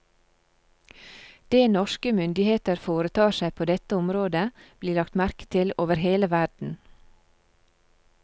Det norske myndigheter foretar seg på dette området, blir lagt merke til over hele verden.